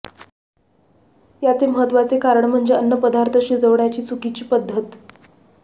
याचे महत्वाचे कारण म्हणजे अन्न पदार्थ शिजवण्याची चुकीची पद्धत